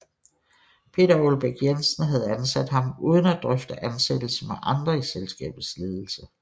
Peter Aalbæk Jensen havde ansat ham uden at drøfte ansættelse med andre i selskabets ledelse